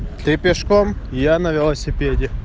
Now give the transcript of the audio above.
ты пешком я на велосипеде